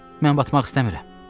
Mən batmaq istəmirəm.